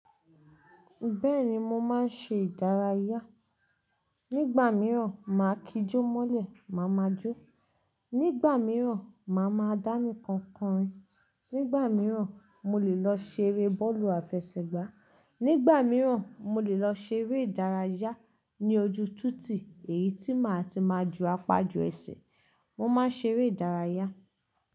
Bẹ́ẹ̀ni mo máa ń ṣe ìdárayá. Nígbà mìíràn, màá kijó mọ́lẹ̀, màá máa jó. Nígbà mìíràn, màá máa dánìkan korin. Nígbà mìíràn, mo lè lọ ṣeré bọ́ọ̀lù àfẹsẹ̀gbá. Nígbà mìíràn, mo lè lọ ṣeré ìdárayá ní ojú titì èyí tí màá ti máa ju apa ju ẹsẹ̀. Mo máa ń ṣeré ìdárayá.